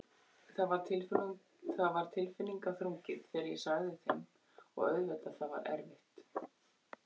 Það var tilfinningaþrungið þegar ég sagði þeim og auðvitað það var erfitt.